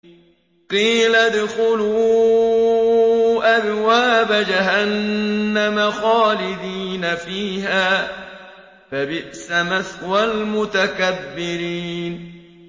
قِيلَ ادْخُلُوا أَبْوَابَ جَهَنَّمَ خَالِدِينَ فِيهَا ۖ فَبِئْسَ مَثْوَى الْمُتَكَبِّرِينَ